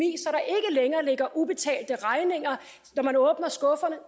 og ligger ubetalte regninger når man åbner skufferne